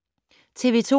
TV 2